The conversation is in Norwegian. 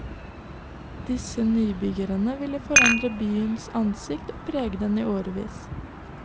Disse nybyggene vil forandre byens ansikt og prege den i årevis.